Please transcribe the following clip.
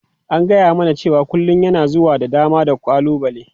An gaya mana cewa kullun yana zuwa da dama da ƙalubale.